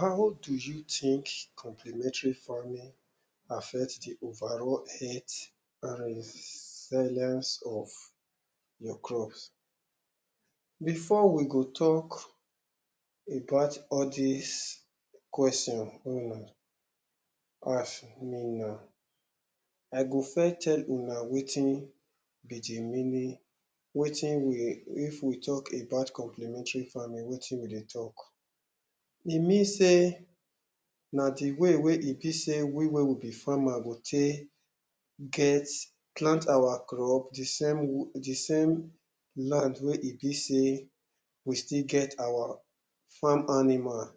how do you think complimentary farming affect the overall earth and silence of your crops before we go talk about all dis question ask me now i go first tell una wetin be the meaning wetin we if we talk about complimentary farming, wetin we dey talk e mean sey na the way wey e be sey we wey we be the farmer go take get plant our crops the same.the same land wey e be sey we still get our farm animal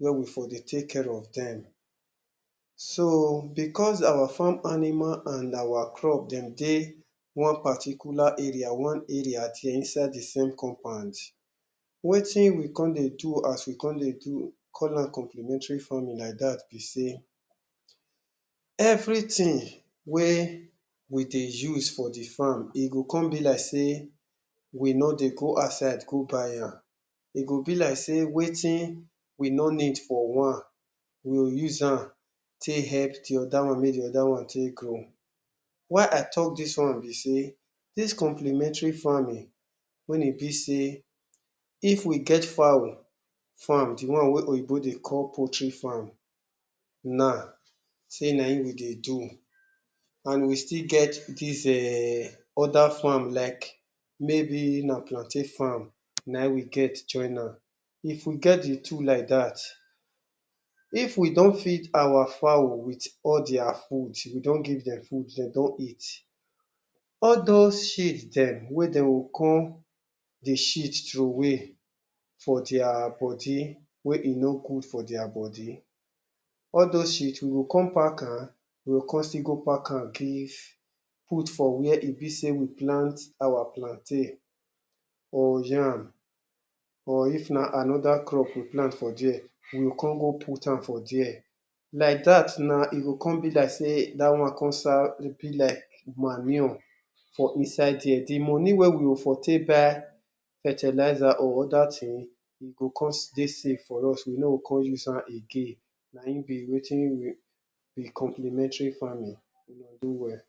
wey we for dey take care of dem so, because our farm animal and our crop dem dey one particular area, one area till inside the same compound wetin we come dey do as we come dey call am complimentary farming like dat be sey everything wey we dey use for the farm e go come be like sey we no dey go outside go buy am e go be like sey wetin we no need for one we o uzam take help the other one mey the other one take grow why i talk dis one be sey dis complementary farming wen e be sey if we get fowl farm the one wey oyibo dey call poultry farm na sey nayin we dey do and we still get dis eee. other farm like mey be na plantain farm nayin we get joinam if we get the two like dat if we don feed our fowl with all dia food we don give dem food de don eat all those sheat dem wey de o come dey sheat trowey for dia body wey e no good for dia body all thosse sheat we go come pakam, we go come still go pakam give put for where e be sey we plant our plantain or yam or if na another crop you plan for dia, you go come go putam for dia like dat na e go come be like sey da one come serve e be like manure for inside dia, the money wey we for take buy fertilizer or other thing e go come dey save for us we no o come uzam again, nayin be wetin be complementary farming well-well